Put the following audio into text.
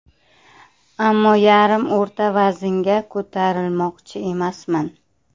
Ammo yarim o‘rta vaznga ko‘tarilmoqchi emasman.